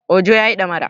Ojo ya yi damara